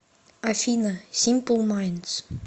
афина симпл майндс